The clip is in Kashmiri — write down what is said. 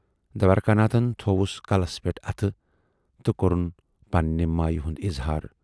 دوارِکا ناتھن تھَووُس کلس پٮ۪ٹھ اَتھٕ تہٕ کورُن پننہِ مایہِ ہُند اِظہار۔